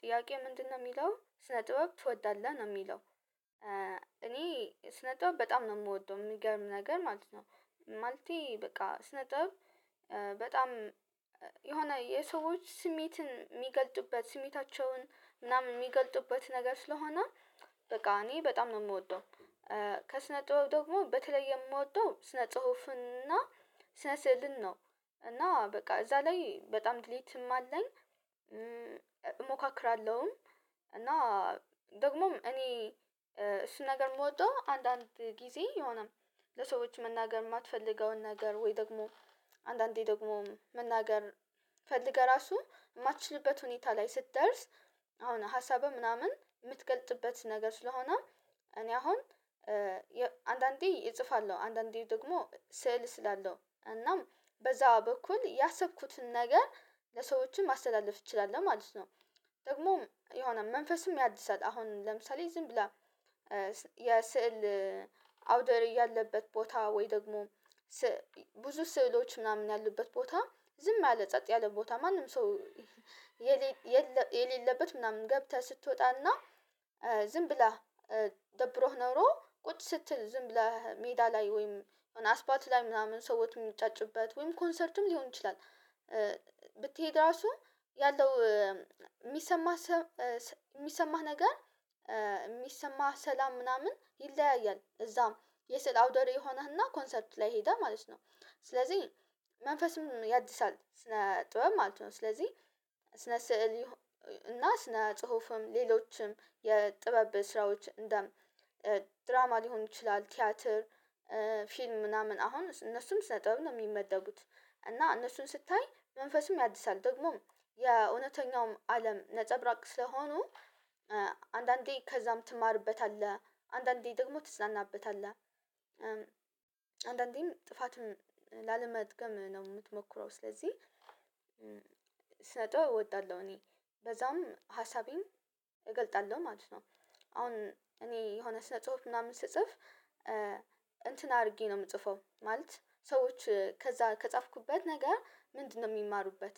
ጥያቄ ምንድነው የሚለው ስነ ጥበብ ትወዳለህ ነው የሚለው? እኔ ስነ ጥበብ በጣም ነው የምወደው የሚገርም ነገር ማለት ነው። ማለቴ በቃ ስነ ጥበብ በጣም የሆነ የሰዎች ስሜትን የሚገልጥበት ስሜታቸውን ምናምን የሚገልጥበት ነገር ስለሆነ። በቃ እኔ በጣም ነው የምወጣው። ከስነ ጥበብ ደግሞ በተለይ የምወጣው ስነ ጽሁፍ። ስነ ስዕልን ነው እና በቃ እዛ ላይ በጣም ድሌትም አለኝ። እሞካክራለሁ። እና ደግሞም እኔ እሱን ነገር የምወደው አንዳንድ ጊዜ የሆነም ለሰዎች መናገር የማትፈልገውን ነገር ወይ ደግሞ አንዳንዴ ደግሞ መናገር ፈልገህ ራሱ የማትችልበት ሁኔታ ላይ ስትደርስ አሁን ሀሳብህ ምናምን የምትገልጥበት ነገር ስለሆነ። እኔ አሁን አንዳንዴ እጽፋለሁ አንዳንዴ ደግሞ ስዕል እስላለው እናም በዛ በኩል ያሰብኩትን ነገር ለሰዎችም ማስተላለፍ እችላለሁ ማለት ነው። ደግሞ የሆነ መንፈስን ያድሳል። አሁን ለምሳሌ ዝም ብላ የስዕል አውደ ርእይ ያለበት ቦታ ወይ ደግሞ ብዙ ስዕሎች ምናምን ያሉበት ቦታ ዝም ያለ ጸጥ ያለ ቦታ ማንም ሰው የሌለበት ምናምን ገብተህ ስትወጣና ዝም ብላ ደብሮህ ኖሮ ቁጭ ስትል ዝም ብለህ ሜዳ ላይ ወይም አስፓት ላይ ምናምን ሰዎችን የሚንጫጩበት ወይም ኮንሰርትም ሊሆን ይችላል። ብትሄድ ራሱ ያለው የሚሰማ የሚሰማህ ነገር የሚሰማህ ሰላም ምናምን ይለያያል። እዛም የስዕል አውደ ረይ የሆነህና ኮንሰርት ላይ ሄደህ ማለት ነው። ስለዚህ መንፈስም ያድሳል ስለ ጥበብ ማለት ነው። ስለዚህ ስነ ስዕል እና ስነ ጽሁፍም ሌሎችም የጥበብ ስራዎች እንደ ድራማ ሊሆን ይችላል ቲያትር ፊልም ምናምን አሁን እነሱም ስነ ጥበብ ነው የሚመደቡት እና እነሱን ስታይ መንፈስም ያድሳል። ደግሞም የእውነተኛው አለም ነፀብራቅ ስለሆኑ አንዳንዴ ከዛም ትማርበታለህ አንዳንዴ ደግሞ ትዝናናበታለህ። አንዳንዴም ጥፋትም ላለመድገም ነው የምትሞክረው ስለዚህ። ስነ ጥበብ እወጣለሁ እኔ በዛም ሀሳቤም እገልጣለሁ ማለት ነው። አሁን እኔ የሆነ ስነ ጽሁፍ ምናምን ስጽፍ እንትን አድርጌ ነው የምጽፈው ማለት ሰዎች ከዛ ከጻፍኩበት ነገር ምንድነው የሚማሩበት?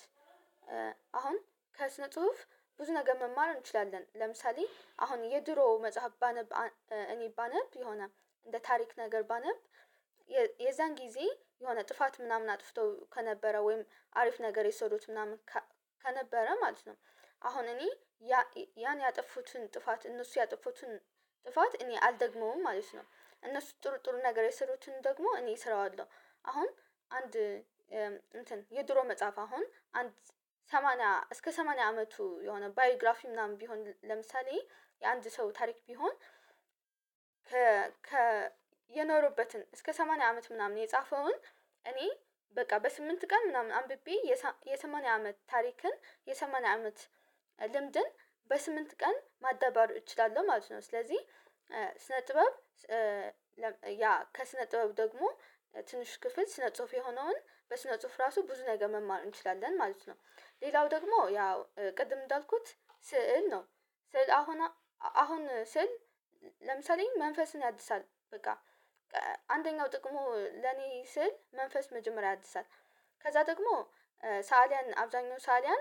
አሁን ከስነ ጽሁፍ ብዙ ነገር መማር እንችላለን ለምሳሌ አሁን የድሮ መጽሐፍ ባነብ እኔ ባነብ የሆነ እንደ ታሪክ ነገር ባነብ የዛን ጊዜ የሆነ ጥፋት ምናምን አጥፍቶ ከነበረ ወይም አሪፍ ነገር የሰሩት ምናምን ከነበረ ማለት ነው። አሁን እኔ ያ ያን ያጠፉትን ጥፋት እነሱ ያጠፉትን ጥፋት እኔ አልደግመውም ማለት ነው። እነሱ ጥሩ ጥሩ ነገር የሰሩትን ደግሞ እኔ እሰራዋለሁ አሁን አንድ የድሮ መጽሐፍ አሁን አንድ ሰማንያ እስከ ሰማንያ አመቱ የሆነ ባዮግራፊ ምናምን ቢሆን ለምሳሌ የአንድ ሰው ታሪክ ቢሆን ከ የኖረበትን እስከ ሰማንያ አመት ምናምን የጻፈውን እኔ በቃ በስምንት ቀን ምናምን አንብቤ የሰማንያ አመት ታሪክን የሰማንያ አመት ልምድን በስምንት ቀን ማዳበሩ እችላለሁ ማለት ነው። ስለዚህ ስነ ጥበብ ያ ከስነ ጥበብ ደግሞ ትንሽ ክፍል ስነ ጽሁፍ የሆነውን በስነ ጽሁፍ ራሱ ብዙ ነገር መማሩ እንችላለን ማለት ነው። ሌላው ደግሞ ያው ቅድም እንዳልኩት ስዕል ነው። ስዕል አሁን አሁን ስዕል ለምሳሌ መንፈስን ያድሳል በቃ አንደኛው ጥቅሙ ለኔ ስዕል መንፈስ መጀመሪያ ያድሳል። ከዛ ደግሞ ሳእሊያን አብዛኛው ሳእሊያን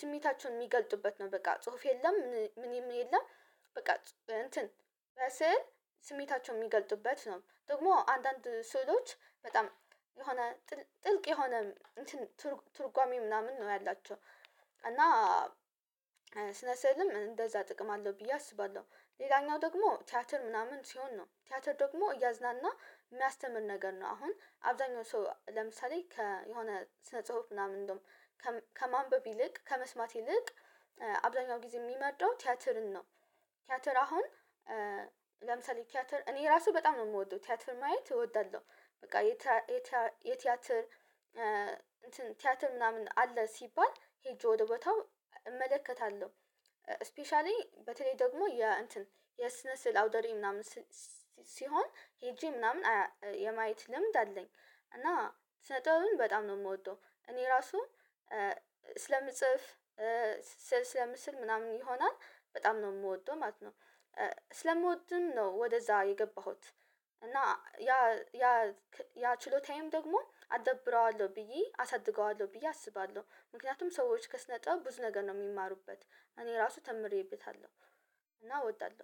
ስሜታቸውን የሚገልጡበት ነው በቃ ጽሁፍ የለም ምን የለም በቃ እንትን በስዕል ስሜታቸው የሚገልጡበት ነው ደግሞ አንዳንድ ስውሎች በጣም የሆነ ጥልቅ የሆነ ትርጓሜ ምናምን ነው ያላቸው እና ስልም እንደዛ ጥቅም አለው ብዬ አስባለሁ። ሌላኛው ደግሞ ቲያትር ምናምን ሲሆን ነው ቲያትር ደግሞ እያዝናና የሚያስተምር ነገር ነው። አሁን አብዛኛው ሰው ለምሳሌ ከየሆነ ስነ ጽሁፍ ምናምን እንደውም ከማንበብ ይልቅ ከመስማት ይልቅ አብዛኛው ጊዜ የሚወደው ቲያትርን ነው። ቲያትር አሁን ለምሳሌ ቲያትር እኔ ራሱ በጣም ነው የምወደው ቲያትር ማየት እወዳለሁ። በቃ የቲያትር ቲያትር ምናምን አለ ሲባል ሄጄ ወደ ቦታው እመለከታለሁ። ስፔሻሊ በተለይ ደግሞ የ እንትን የስነ ስዕል አውደ ርእይ ምናምን ሲሆን ሄጄ ምናምን የማየት ልምድ አለኝ። እና ስነጥበብን በጣም ነው የምወደው እኔ ራሱ ስለምጽፍ ስለምስል ምናምን ይሆናል በጣም ነው የምወደው ማለት ነው። ስለምወድም ነው ወደዛ የገባሁት እና ያ ያ ያ ችሎታዬም ደግሞ አዳብረዋለሁ ብዬ አሳድገዋለሁ ብዬ አስባለሁ። ምክንያቱም ሰዎች ከስነ ጠብ ብዙ ነገር ነው የሚማሩበት። እኔ ራሱ ተምሬበታለሁ። እና እወጣለሁ